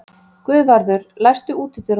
Guðvarður, læstu útidyrunum.